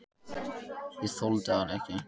Ég þoldi hann ekki.